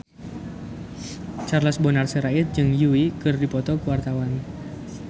Charles Bonar Sirait jeung Yui keur dipoto ku wartawan